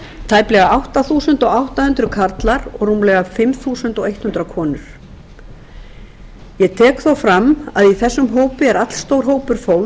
tæplega átta þúsund átta hundruð karlar og rúmlega fimm þúsund hundrað konur ég tek þó fram að í þessum hópi er allstór hópur fólks